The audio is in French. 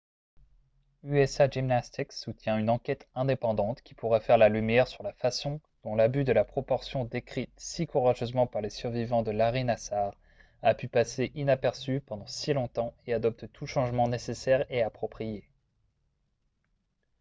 usa gymnastics soutient une enquête indépendante qui pourrait faire la lumière sur la façon dont l'abus de la proportion décrite si courageusement par les survivants de larry nassar a pu passer inaperçu pendant si longtemps et adopte tout changement nécessaire et approprié